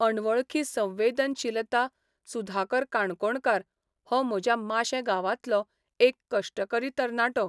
अणवळखी संवेदनशीलता सुधाकर काणकोणकार हो म्हज्या माशें गांवांतलो एक कश्टकरी तरणाटो.